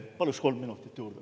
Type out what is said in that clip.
Palun kolm minutit juurde.